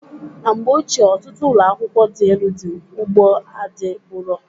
Na mgbe ochie ọtụtụ ụlọakwụkwọ dị elu dị ugbo a adịburo.